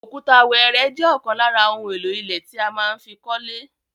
Òkúta wẹ́ẹ́rẹ́ jẹ́ ọ̀kan lára ohun èlò ilẹ̀ tí a má fi kọ́lé.